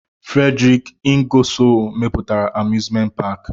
Frederik Ingasol mepụtara amuzment paki.